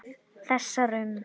Þessar um